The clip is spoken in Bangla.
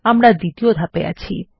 আমরা দ্বিতীয় ধাপে আছি